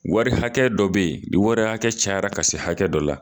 Wari hakɛ dɔ bɛ ye ni wari hakɛ cayara ka se hakɛ dɔ la.